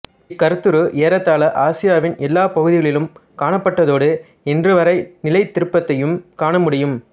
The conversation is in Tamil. இக் கருத்துரு ஏறத்தாழ ஆசியாவின் எல்லாப் பகுதிகளிலும் காணப்பட்டதோடு இன்றுவரை நிலைத்திருப்பதையும் காண முடியும்